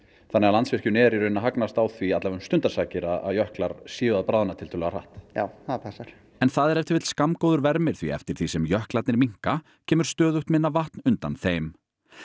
þannig að Landsvirkjun er að hagnast á því allavega um stundarsakir að jöklar séu að bráðna tiltölulega hratt já það passar en það er ef til vill skammgóður vermir því eftir því sem jöklarnir minnka kemur stöðugt minna vatn undan þeim